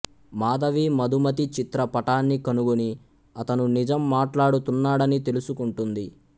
మాధవి మధుమతి చిత్ర పటాన్ని కనుగొని అతను నిజం మాట్లాడుతున్నాడని తెలుసుకుంటుంది